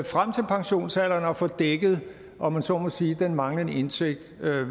frem til pensionsalderen og få dækket om man så må sige den manglende indtægt